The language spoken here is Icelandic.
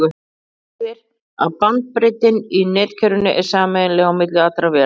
það þýðir að bandbreiddin í netkerfinu er sameiginleg á milli allra véla